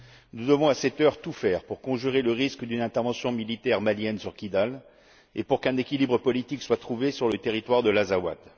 Nous devons, à cette heure, tout faire pour conjurer le risque d'une intervention militaire malienne sur Kidal et pour qu'un équilibre politique soit trouvé sur le territoire de l'Azawat.